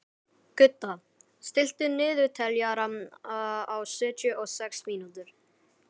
Gudda, stilltu niðurteljara á sjötíu og sex mínútur.